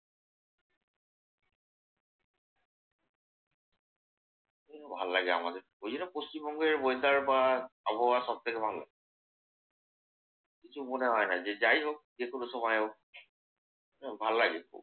ভাল্লাগে আমাদের। ওই যে পশ্চিম বঙ্গের weather বা আবহাওয়া সব থেকে ভালো। কিছু মনে হয় না। যে যাই হোক যেকোন সময় হোক ভাল্লাগে।